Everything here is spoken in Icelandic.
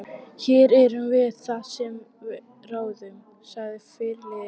Hér erum það við sem ráðum, sagði fyrirliðinn.